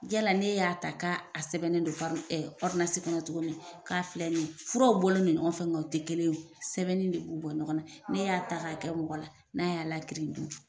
Yala ne y'a ta k'a sɛbɛnnen don kɔnɔ cogo min k'a filɛ nin ye furaw bolen no ɲɔgɔn fɛ nga o tɛ kelen ye o. Sɛbɛnnen de b'u bɔ ɲɔgɔn na, ne y'a ta k'a kɛ mɔgɔ la, n'a y'a lakirin dun.